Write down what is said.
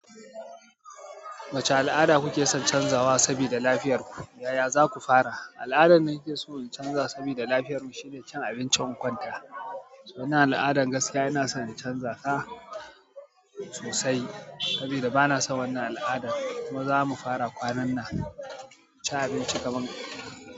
Wacce al'ada kuke son canzawa sabida lafiyar ku, yaya za ku fara? Al'adan da nake so na canza sabida lafiyar mu shine cin abincin kwanta. Wannan al'adan gaskiya ina son na canza ta sosai sabida bana son wannan al'adan kuma za mu fara kwanan nan cin abinci kaman.